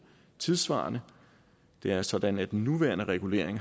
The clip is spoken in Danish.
tidssvarende det er sådan at den nuværende regulering